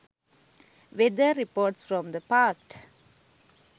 weather reports from the past